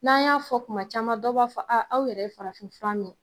N'an y'a fɔ kuma caman dɔw b'a fɔ a aw yɛrɛ ye farafinfura mi